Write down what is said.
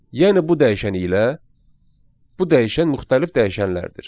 Yəni bu dəyişən ilə bu dəyişən müxtəlif dəyişənlərdir.